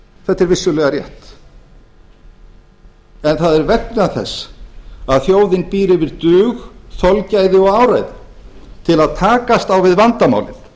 þetta er vissulega rétt en það er vegna þess að þjóðin býr yfir dug þolgæði og áræði til að takast á við vandamálin